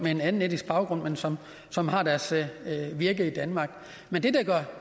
med en anden etnisk baggrund men som som har deres virke i danmark men det